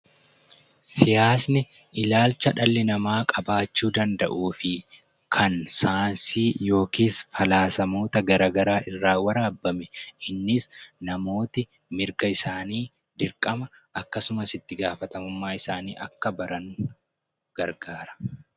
Siyaasni ilaalcha dhalli namaa qabaachuu danda'uu fi kan saayinsii yookaan falaasamoota garaagaraa irraa waraabame innis namoonni mirga isaanii, dirqama isaanii akkasumas itti gaafatamummaa isaanii akka baran gargaara.